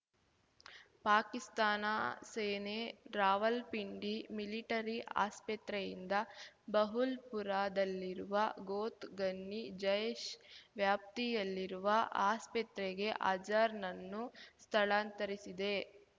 ಪಾಕಿಸ್ತಾನ ಸೇನೆ ರಾವಲ್ಪಿಂಡಿ ಮಿಲಿಟರಿ ಆಸ್ಪತ್ರೆಯಿಂದ ಬಹೂಲ್‌ಪುರ ದಲ್ಲಿರುವ ಗೋತ್ ಘನ್ನಿ ಜೈಶ್ ವ್ಯಾಪ್ತಿಯಲ್ಲಿರುವ ಆಸ್ಪತ್ರೆಗೆ ಅಜಾರ್ ನನ್ನು ಸ್ಥಳಾಂತರಿಸಿದೆ